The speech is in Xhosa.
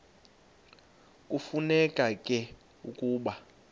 kufuneka ke ukuba